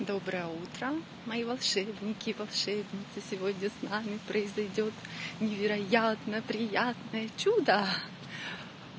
доброе утро мои волшебники и волшебницы сегодня с нами произойдёт невероятно приятное чюда